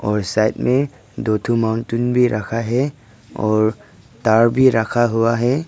और इस साइड में दो ठो माउंटन भी रखा है और तार भी रखा हुआ है।